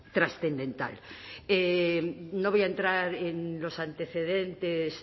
trascendental no voy a entrar en los antecedentes